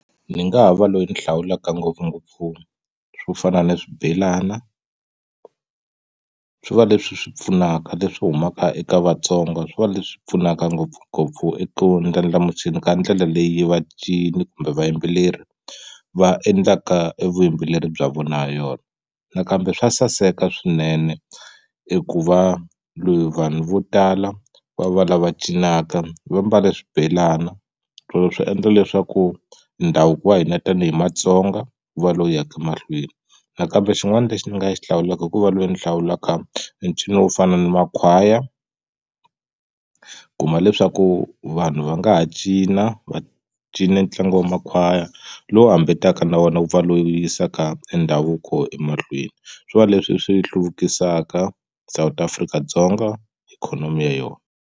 Ndzi nga ha va loyi ni hlawulaka ngopfungopfu swo fana ni swibelana swi va leswi swi pfunaka leswi humaka eka Vatsongo swi va leswi pfunaka ngopfungopfu eka ku ndlandlamuxeni ka ndlela leyi vacini kumbe vayimbeleri va endlaka evuyimbeleri bya vona ha yona nakambe swa saseka swinene eku va loyi vanhu vo tala va va lava cinaka va mbale swibelana swo swi endla leswaku ndhavuko wa hina tanihi Matsonga wu va lowu yaka mahlweni nakambe xin'wana lexi ni nga xi hlawulaka i ku va loyi ni hlawulaka ncino wo fana na Makhwaya u kuma leswaku vanhu va nga ha cina va cina ntlangu wa Makhwaya lowu na wona ku pfa loyi yisaka ndhavuko emahlweni swi va leswi swi hluvukisaka South Afrika-Dzonga ikhonomi ya yona.